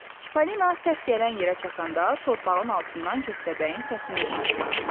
Çipollina səs gələn yerə çatanda torpağın altından köstəbəyin səsini eşitdi.